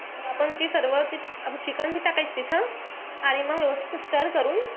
तर आपण जे सर्व आपण chicken टाकायचं तिथं. आणि मंग व्यवस्थित stir करून,